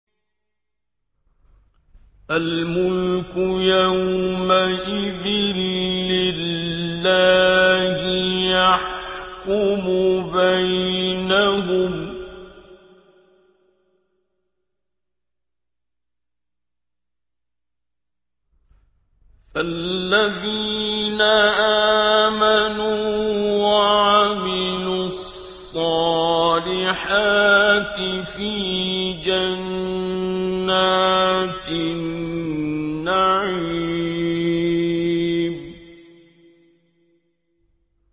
الْمُلْكُ يَوْمَئِذٍ لِّلَّهِ يَحْكُمُ بَيْنَهُمْ ۚ فَالَّذِينَ آمَنُوا وَعَمِلُوا الصَّالِحَاتِ فِي جَنَّاتِ النَّعِيمِ